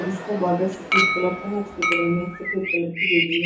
और उसका बॉर्डर सफेद कलर का है उसके बगल में एक सफेद कलर की बिल्डिंग है --